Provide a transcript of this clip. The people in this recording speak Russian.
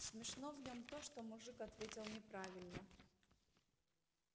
смешно в нём то что мужик ответил неправильно